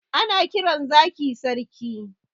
Ana kiran zaki sarki